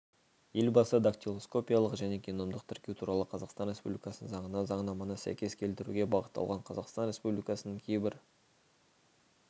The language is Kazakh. елбасы дактилоскопиялық және геномдық тіркеу туралы қазақстан республикасының заңына заңнаманы сәйкес келтіруге бағытталған қазақстан республикасының кейбір